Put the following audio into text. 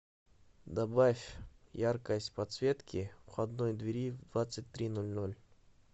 добавь яркость подсветки входной двери в двадцать три ноль ноль